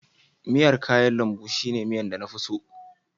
miyar kayan lambu shine miya na fi so